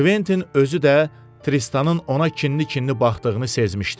Kventin özü də Tristanın ona kinli-kinli baxdığını sezmişdi.